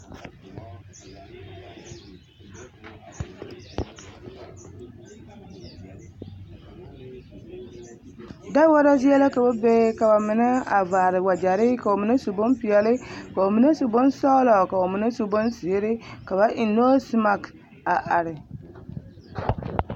Daworo zie la ka ba be ka bamine a vaare wagyɛre ka bamine su bompeɛle ka bamine su bonsɔgelɔ ka bamine su bonzeere ka ba eŋ noosimaki a are.